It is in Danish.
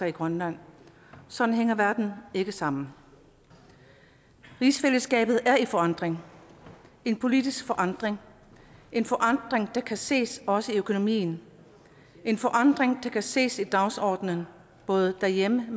i grønland sådan hænger verden ikke sammen rigsfællesskabet er i forandring en politisk forandring en forandring der kan ses også i økonomien en forandring der kan ses på dagsordenen både derhjemme og